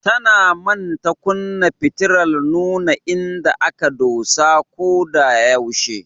Tana manta kunna fitilar nuna inda aka dosa ko da yaushe.